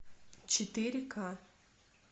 четыре ка